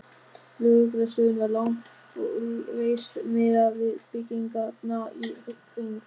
Lögreglustöðin var lágreist miðað við byggingarnar í kring.